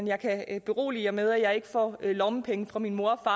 jeg kan berolige med at jeg ikke får lommepenge fra min mor og